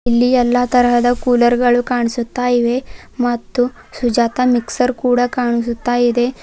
ಇಲ್ಲಿ ಎಲ್ಲಾ ತರಹದ ಕೂಲರ್ ಗಳು ಕಾಣಿಸುತ್ತಾ ಇವೆ ಮತ್ತು ಸುಜಾತ ಮಿಕ್ಸರ್ ಕೂಡ ಕಾಣಿಸುತ್ತಾ ಇದೆ.